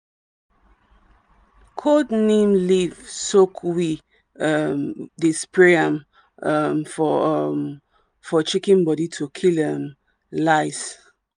cold neem leaf soak we um dey spray am um for um for chicken body to kill um lice.